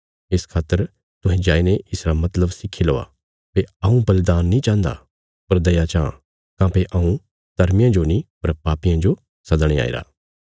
इस खातर तुहें जाईने इसरा मतलब सिक्खी लौआ भई हऊँ बलिदान नीं चाहन्दा पर दया चाँह काँह्भई हऊँ धर्मियां जो नीं पर पापियां जो सदणे आईरा